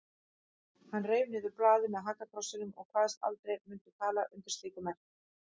Hann reif niður blaðið með hakakrossinum og kvaðst aldrei mundu tala undir slíku merki.